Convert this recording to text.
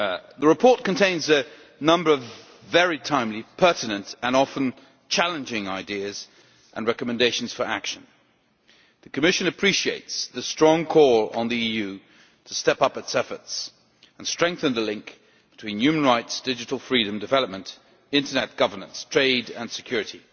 The report contains a number of very timely, pertinent and often challenging ideas and recommendations for action. The Commission appreciates the strong call to the EU to step up its efforts and strengthen the link between human rights, digital freedom, development, Internet governance, trade and security.